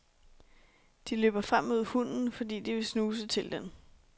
De løber frem mod hunden, fordi de vil snuse til den.